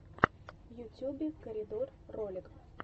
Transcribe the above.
в ютюбе корридор ролик